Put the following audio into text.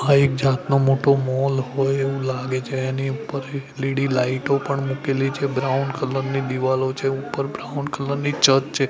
આ એક જાતનો મોટો મોલ હોય એવું લાગે છે એની ઉપર એલ_ઈ_ડી લાઈટો પણ મૂકેલી છે બ્રાઉન કલર ની દીવાલો છે ઉપર બ્રાઉન કલર ની છત છે.